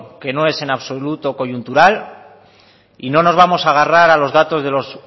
que no es absoluto coyuntural y no nos vamos a agarrar a los datos de los